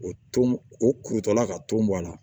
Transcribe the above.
O ton o kurutɔla ka ton bɔ a la